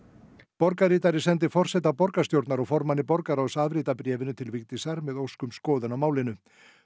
borgarritari sendi forseta borgarstjórnar og formanni borgarráðs afrit af bréfinu til Vigdísar með ósk um skoðun á málinu